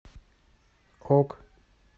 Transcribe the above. ок